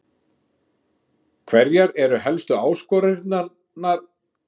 Hverjar eru helstu áskoranirnar í rekstrinum þessi misserin?